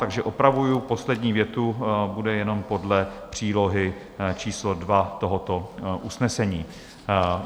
Takže opravuji poslední větu, bude jenom podle přílohy číslo 2 tohoto usnesení.